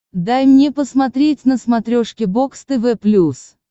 дай мне посмотреть на смотрешке бокс тв плюс